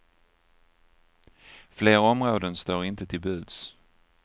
Fler områden står inte till buds.